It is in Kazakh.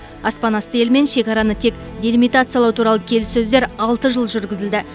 аспанасты елімен шекараны тек делимитациялау туралы келіссөздер алты жыл жүргізілді